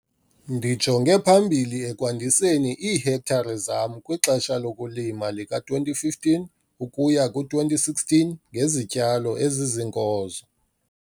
Ndijonge phambili ekwandiseni iihektare zam kwixesha lokulima lika -2015 ukuya ku-2016 ngezityalo eziziinkozo.